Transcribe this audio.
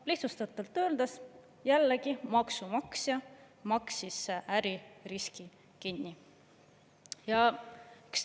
Lihtsustatult öeldes, jällegi maksumaksja maksis äririski kinni.